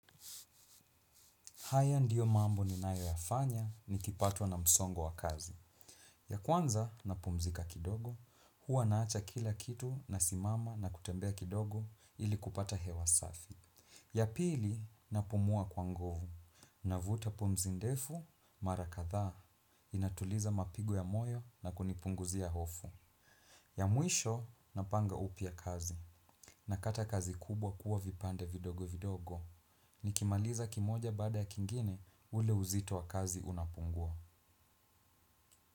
Haya ndiyo mambo ni nayo yafanya ni kipatwa na msongo wa kazi. Ya kwanza na pumzika kidogo, huwa naacha kila kitu na simama na kutembea kidogo ili kupata hewa safi. Ya pili na pumua kwa ngovu, na vuta pumzi ndefu, mara kadha, inatuliza mapigo ya moyo na kunipunguzia hofu. Ya muisho na panga upya kazi, na kata kazi kubwa kuwa vipande vidogo vidogo. Ni kimaliza kimoja bada ya kingine ule uzito wa kazi unapungua.